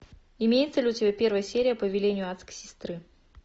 имеется ли у тебя первая серия по велению адской сестры